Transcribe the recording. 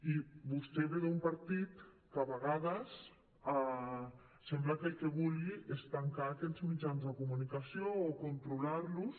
i vostè ve d’un partit que a vegades sembla que el que vulgui és tancar aquests mitjans de comunicació o controlar los